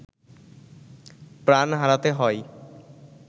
প্রাণ হারাতে হয়